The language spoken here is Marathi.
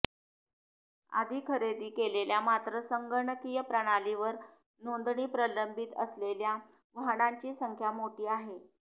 आधी खरेदी केलेल्या मात्र संगणकीय प्रणालीवर नोंदणी प्रलंबित असलेल्या वाहनांची संख्या मोठी आहे